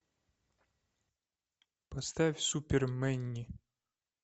поставь супер мэнни